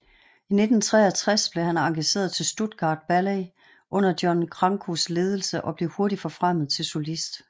I 1963 blev han engageret til Stuttgart Ballet under John Crankos ledelse og blev hurtigt forfremmet til solist